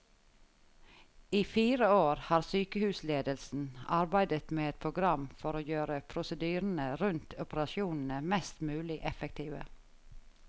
I fire år har sykehusledelsen arbeidet med et program for å gjøre prosedyrene rundt operasjonene mest mulig effektive.